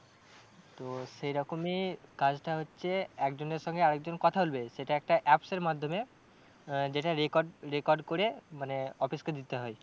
তো সেরকমই কাজটা হচ্ছে একজনের সঙ্গে আর একজন কথা বলবে সেটা একটা apps এর মাধ্যমে আহ যেটা record, record করে মানে office কে দিতে হয়।